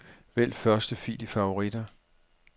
Vælg første fil i favoritter.